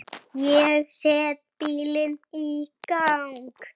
Ég set bílinn í gang.